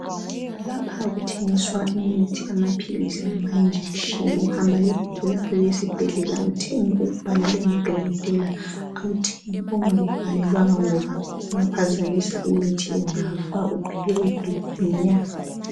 Lapha kuthengiswa imithi amapills lamajekiseni uhamba lebhuku lakho lesibhedlela uthenge okubhalelwe ngudokotela awuthengi ongakutshelwanga ngoba ungaphazamisa imithi ungafa uphele nya